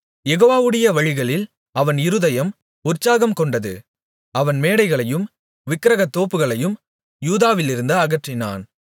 யெகோவாவுடைய வழிகளில் அவன் இருதயம் உற்சாகம்கொண்டது அவன் மேடைகளையும் விக்கிரகத் தோப்புகளையும் யூதாவிலிருந்து அகற்றினான்